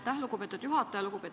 Aitäh, lugupeetud juhataja!